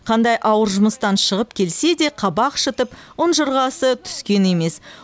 қандай ауыр жұмыстан шығып келсе де қабақ шытып ұнжырғасы түскен емес